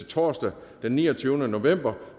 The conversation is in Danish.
torsdag den niogtyvende november